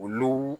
Olu